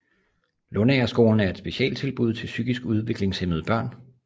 Lundagerskolen er et specialtilbud til psykisk udviklingshæmmede børn